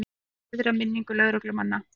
Vill heiðra minningu lögreglumanna